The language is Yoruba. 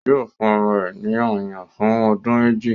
Yóò fún ọmọ rẹ̀ ní ọyàn fún ọdún méjì.